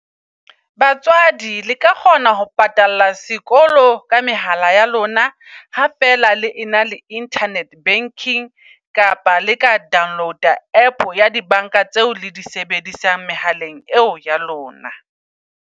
Batswadi le ka kgona ho patala sekolo ka mehala ya lona. Ha feela le ena le internet banking kapa le ka download-a app ya di bank-a, tseo le di sebedisang mehaleng eo ya lona.